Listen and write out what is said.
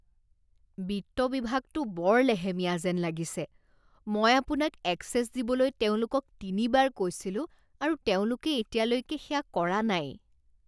বিত্ত বিভাগটো বৰ লেহেমীয়া যেন লাগিছে। মই আপোনাক এক্সেছ দিবলৈ তেওঁলোকক তিনিবাৰ কৈছিলোঁ আৰু তেওঁলোকে এতিয়ালৈকে সেয়া কৰা নাই।